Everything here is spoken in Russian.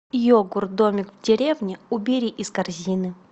йогурт домик в деревне убери из корзины